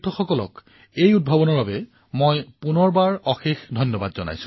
আৰু আপোনাক আপোনাৰ দলক আৰু এই নতুন কাৰ্যসূচীৰ বাবে মোৰ তৰফৰ পৰা অশেষ অভিনন্দন